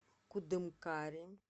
кудымкаре